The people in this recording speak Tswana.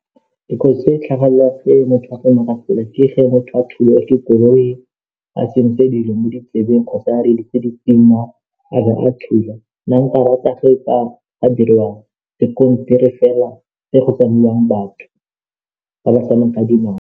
Dikotsi tse di tlhagelelang ge motho a tsamaya ka tsela ke ge motho a thulwa ke koloi a tsentse dilo mo ditsebeng kgotsa reeditse, dipina a bo a thula, nna nka rata fa go ka diriwa sekontiri fela se go tsamaiwang batho ba ba tsamayang ka dinao.